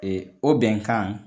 Ee o bɛnkan